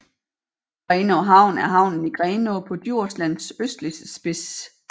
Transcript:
Grenaa Havn er havnen i Grenaa på Djurslands østligste spids